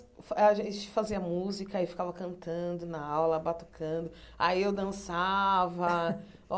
A gente fazia música e ficava cantando na aula, batucando, aí eu dançava.